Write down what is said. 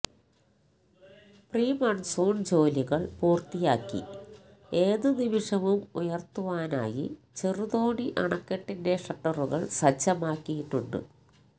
pre monsoon ജോലികള് പൂര്ത്തിയാക്കി ഏത് നിമിഷവും ഉയര്ത്തുവാനായി ചെറുതോണി അണക്കെട്ടിന്റെ ഷട്ടറുകള് സജ്ജമാക്കിയിട്ടുണ്ട്